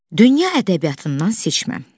Dünya ədəbiyyatından seçmə.